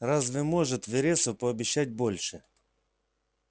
разве может вересов пообещать больше